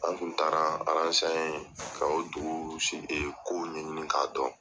An kun taara an ka o dugu kow ɲɛɲini k'a dɔn.